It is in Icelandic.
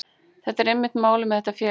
Það er einmitt málið með þetta félag.